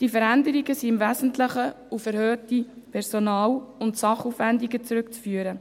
Diese Veränderungen sind im Wesentlichen auf erhöhte Personal- und Sachaufwendungen zurückzuführen.